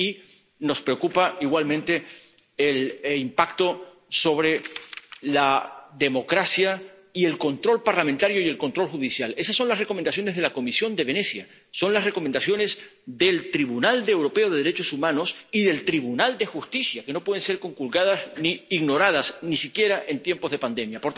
y nos preocupa igualmente el impacto sobre la democracia y el control parlamentario y el control judicial. Esas son las recomendaciones de la Comisión de Venecia, son las recomendaciones del Tribunal Europeo de Derechos Humanos y del Tribunal de Justicia, que no pueden ser conculcadas ni ignoradas, ni siquiera en tiempos de pandemia.